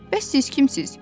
Bəs siz kimsiz?